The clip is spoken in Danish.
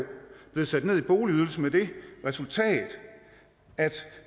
blevet sat ned i boligydelse med det resultat at